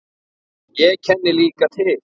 Ég kenni líka til.